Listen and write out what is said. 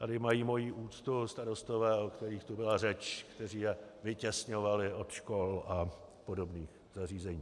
Tady mají moji úctu starostové, o kterých tu byla řeč, kteří je vytěsňovali od škol a podobných zařízení.